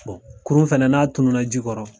kurun fana n'a tunun na ji kɔrɔ.